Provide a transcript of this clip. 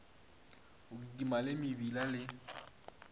go kitima le mebila le